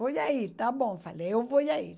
Vou já ir, tá bom, falei, eu vou já ir.